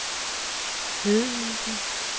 Hedehusene